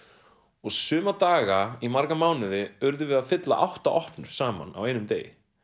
og suma daga í marga mánuði urðum við að fylla átta opnur saman á einum degi